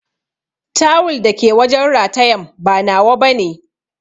Tawul dake wajen ratayan ba nawa bane.